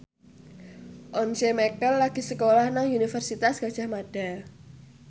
Once Mekel lagi sekolah nang Universitas Gadjah Mada